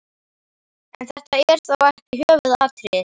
En þetta er þó ekki höfuðatriðið.